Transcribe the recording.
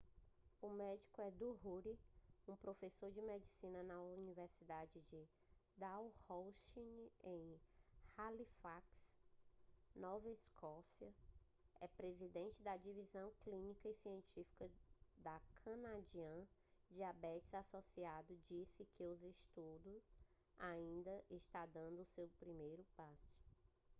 o médico ehud ur um professor de medicina na universidade de dalhousie em halifax nova escócia e presidente da divisão clínica e científica da canadian diabetes association disse que o estudo ainda está dando seus primeiros passos